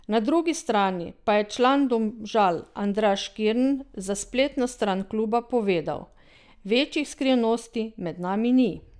Na drugi strani pa je član Domžal Andraž Kirm za spletno stran kluba povedal: "Večjih skrivnosti med nami ni.